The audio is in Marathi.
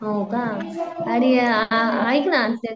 हो का आणि आ आइक ना